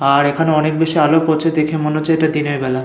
আর এখানে অনেক বেশি আলোক পড়ছে দেখে মনে হচ্ছে এটি দিনের বেলা।